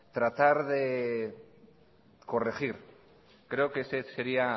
tratar de corregir creo que ese sería